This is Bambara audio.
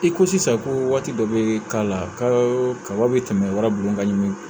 I ko sisan ko waati dɔ bɛ k'a la kaba bɛ tɛmɛ wara buguni ka ɲi